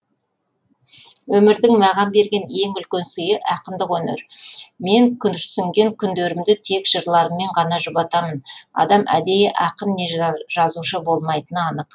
өмірдің маған берген ең үлкен сыйы ақындық өнер мен күрсінген күндерімді тек жырларыммен ғана жұбатамын адам әдейі ақын не жазушы болмайтыны анық